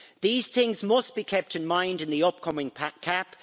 These things must be kept in mind in the upcoming CAP.